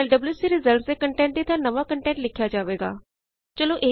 ਇਸ ਤਰਹ file wc results ਦੇ ਕੰਟੈਟ ਦੀ ਥਾਂ ਨਵਾਂ ਕੰਟੈਟ ਲਿਖਿਆ ਜਾਵੇਗਾ